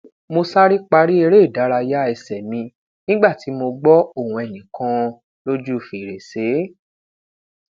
mo sare pari ereidaraya ẹsẹ mi nigba ti mo gbọ ohun ẹnikan loju ferese